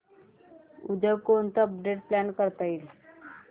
उद्या कोणतं update plan करता येईल